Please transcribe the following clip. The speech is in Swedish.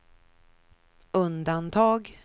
undantag